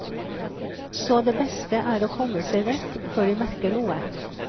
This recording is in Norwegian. Så det beste er å komme seg vekk før de merker noe.